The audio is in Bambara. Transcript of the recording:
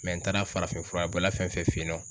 n taara farafinfura bɔla fɛn fɛn fen yen nɔ